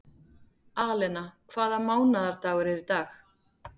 Alena, hvaða mánaðardagur er í dag?